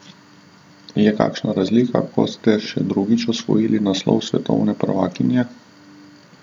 Je kakšna razlika, ko ste še drugič osvojili naslov svetovne prvakinje?